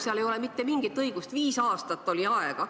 Seal ei ole mitte mingit õigust, viis aastat oli aega.